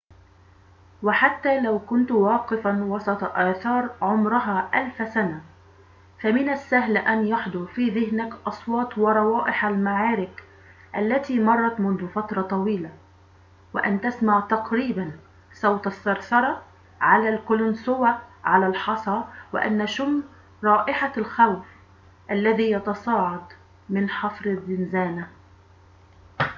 وحتى لو كنت واقفاً وسط آثار عمرها ألف سنة فمن السهل أن يحضر في ذهنك أصوات وروائح المعارك التي مرت منذ فترةٍ طويلةٍ وأن تسمع تقريباً صوت الثرثرة على القلنسوة على الحصى وأن نشم رائحة الخوف الذي يتصاعد من حفر الزنزانة